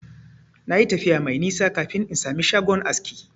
Na yi tafiya mai nisa kafin in samu shagon aski.